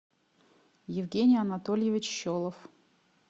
евгений анатольевич щелов